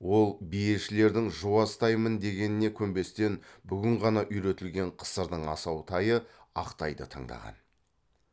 ол биешілердің жуас тай мін дегеніне көнбестен бүгін ғана үйретілген қысырдың асау тайы ақ тайды таңдаған